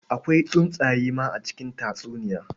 Akwai tsuntsaye ma a cikin tatsuniya.